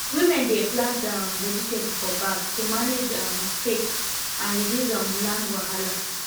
women dey plant um vegetable for bag to manage um space and reduce um land wahala